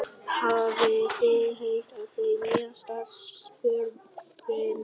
Hafið þið heyrt það nýjasta? spurði Nína.